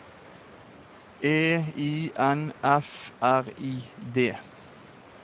E I N F R I D